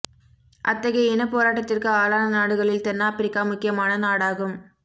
அத்தகைய இனப் போராட்டத்திற்கு ஆளான நாடுகளில் தென்னாப்பிரிக்கா முக்கியமான நாடாகும்